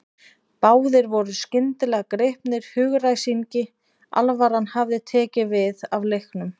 Báðir voru skyndilega gripnir hugaræsingi, alvaran hafði tekið við af leiknum.